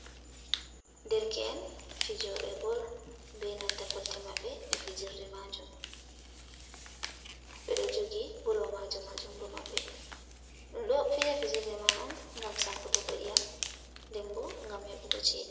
Ɗerke’en fijoɓe bol, be nanta kolte maɓɓe ɗe fijirɗe majum. Ɓe ɗo jogi bolwa majum ha jungo maɓɓe. Ɗum ɗo fija fijirɗe man on ngam sankotogo iyam, ɗemɓo ngam heɓugo cheɗe.